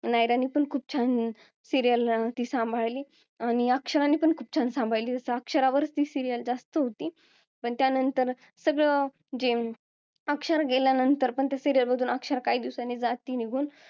नायरांना पण serial खूप छान सांभाळली आणि अक्षराने पण खूप छान सांभाळली अक्षरावरती serial जास्त होती पण त्यानंतर सगळ जे अं अक्षरा गेल्यानंतर पण तर serial मधून अक्षरा काही दिवसांनी मधून जाती निघून